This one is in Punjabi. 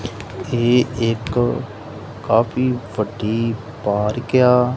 ਇਹ ਇੱਕ ਕਾਫੀ ਵੱਡੀ ਪਾਰਕ ਆ।